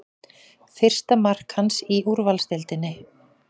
Fyrsta mark hans í úrvalsdeildinni